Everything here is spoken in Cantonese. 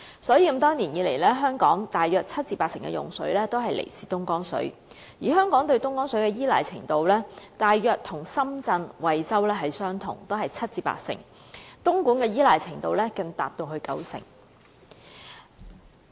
所以，多年來，香港大約七成至八成的用水都來自東江水，而香港對東江水的依賴程度大約與深圳、惠州相同，都是七成至八成，而東莞的依賴程度更高達九成。